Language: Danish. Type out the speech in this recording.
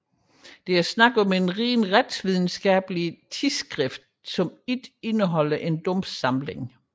Der var tale om et rent retsvidenskabeligt tidsskrift der ikke indeholdte en domssamling